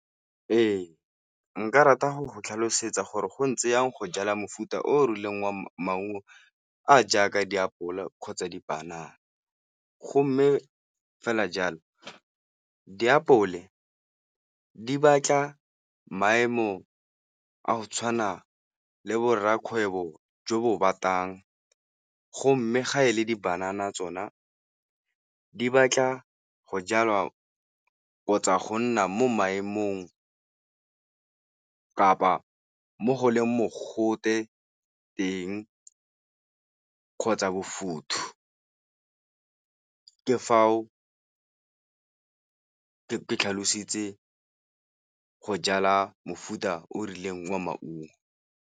Ee, nka rata go go tlhalosetsa gore go ntse jang go jala mofuta o o rileng wa maungo a jaaka diapole kgotsa dipanana, go mme fela jalo diapole di batla maemo a go tshwana le bo rrakgwebo jo bo batang. Go mme ga e le di-banana tsona di batla go jalwa kgotsa go nna mo maemong kapa mo go leng mogote teng kgotsa bofuthu ka foo ke tlhalositse go jala mofuta o o rileng wa maungo.